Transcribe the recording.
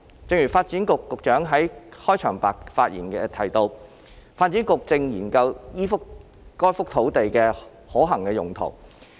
正如發展局局長在其開場發言亦提到，發展局正研究該幅土地的可行用途。